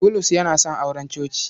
Bulus yana son auren coci.